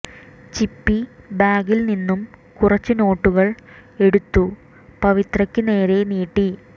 ചിപ്പി ബാഗിൽ നിന്നും കുറച്ചു നോട്ടുകൾ എടുത്തു പവിത്രയ്ക്ക് നേരെ നീട്ടി